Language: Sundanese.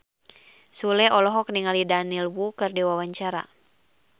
Sule olohok ningali Daniel Wu keur diwawancara